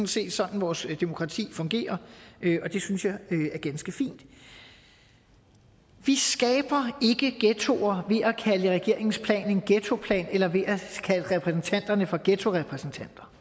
set sådan vores demokrati fungerer og det synes jeg er ganske fint vi skaber ikke ghettoer ved at kalde regeringens plan en ghettoplan eller ved at kalde repræsentanterne for ghettorepræsentanter